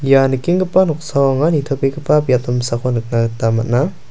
ia nikenggipa noksao anga nitobegipa biap damsako nikna gita man·a.